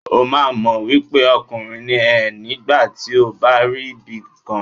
O máa mọ̀ wípé ọkùnrin ni ẹ́ nígbà tí ó bá rí bíi ìkan.